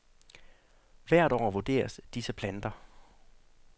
Hvert år vurderes disse planter.